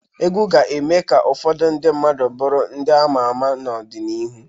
Egwu ga-eme ka ụfọdụ ndị mmadụ bụrụ ndị ama ama n'ọdịnihu